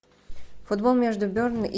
футбол между бернли